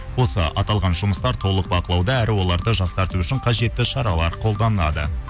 осы аталған жұмыстар толық бақылауда әрі оларды жақсарту үшін қажетті шаралар қолданады